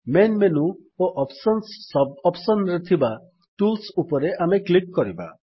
main menu ଓ options sub option ରେ ଥିବା ଟୁଲ୍ସ୍ ଉପରେ ଆମେ କ୍ଲିକ୍ କରିବା